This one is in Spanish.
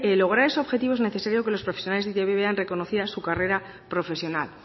lograr ese objetivo es necesario que los profesionales de e i te be vean reconocidas su carrera profesional